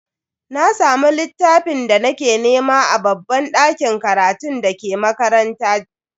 Na samu littafin da nake nema a babban dakin karatun dake makaranta.